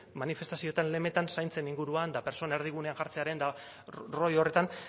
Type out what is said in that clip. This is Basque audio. manifestazioetan lemetan zaintzen inguruan eta pertsona erdigunean jartzearen eta rollo horretan